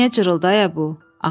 Niyə cırıldı ayə bu?”